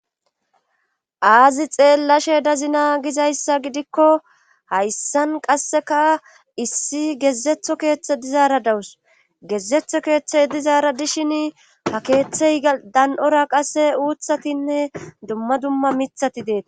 Aazi xeellashe dazina gizayssa gidikko hayssan qasseka issi gezetho keeththe dizaara dawus gezetho keeththey dizaara dishin ha keeththey dan'ora qasse uuthatinne dumma dumma mithati deeta.